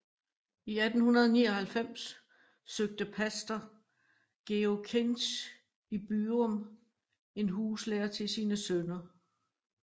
I 1899 søgte pastor Georg Kinch i Byrum en huslærer til sine sønner